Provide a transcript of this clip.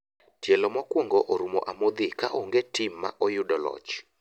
Tielo mokuongo orumo amdho ka ong'e tim ma oyudo loch.